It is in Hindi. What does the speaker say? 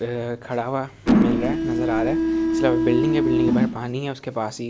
खड़ा हुआ मिल रहा है नजर आ रहा है इसके अलावा बिल्डिंग है बिल्डिंग के बाहर पानी है उसके पास--